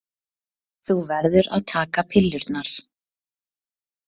Þú verður að taka pillurnar.